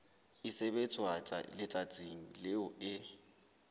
e sebetswa letsatsing leo e